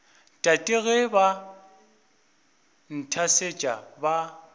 tate ge ba nthasetša ba